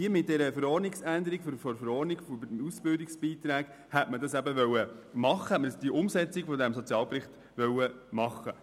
Mit einer Verordnungsänderung zu den Ausbildungsbeiträgen hätte man die Umsetzung aus dem Sozialbericht realisieren wollen.